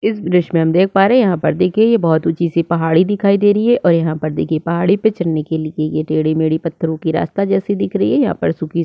इस ब्रिज में हम देख पा रहै है यहाँ पर देखिये ये बहुत ऊंची सी पहाड़ी दिखाई दे रही है और यहाँ पर देखिये पहाड़ी पर चहड़ने के लिए ये टेड़े - मेढे पत्थरों के रास्ता जैसा दिख रही है यहाँ पर सुखी --